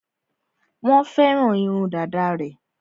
Wọ́n fẹ́ràn irun dàda rẹ̀.